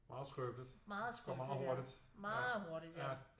Meget skrøbeligt og går meget meget hurtigt